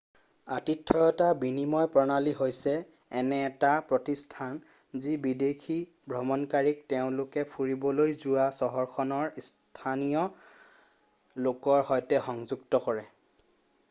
আতিথ্য়তা বিনিময় প্ৰণালী হৈছে এনে এটা প্ৰতিষ্ঠান যি বিদেশী ভ্ৰমণকাৰীক তেওঁলোকে ফুৰিবলৈ যোৱা চহৰখনৰ স্থানীয় লোকৰ সৈতে সংযুক্ত কৰে